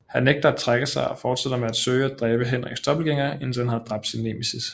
Han nægter at trække sig og fortsætter med at søge at dræbe Henriks dobbeltgængere indtil han havde dræbt sin nemesis